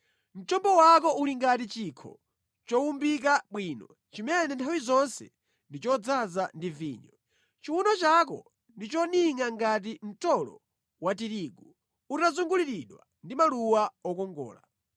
Mchombo wako uli ngati chikho chowumbika bwino chimene nthawi zonse ndi chodzaza ndi vinyo. Chiwuno chako ndi choningʼa ngati mtolo wa tirigu utazunguliridwa ndi maluwa okongola.